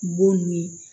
Bon ni